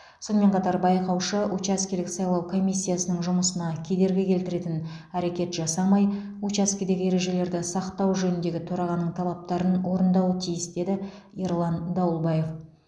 сонымен қатар байқаушы учаскелік сайлау комиссиясының жұмысына кедергі келтіретін әрекет жасамай учаскедегі ережелерді сақтау жөніндегі төрағаның талаптарын орындауы тиіс деді ерлан дауылбаев